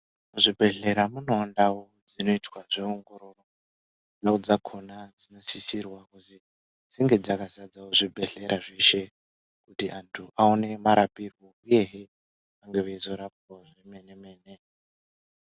Muzvibhehlera munewo ndau dzinoitwa zveongororo, ndau dzakhona dzinosisirwa kuzi dzinge dzakazadzawo zvibhehlera zveshe kuti antu aone marapirwe uyehe vange veizorapwa zvemene.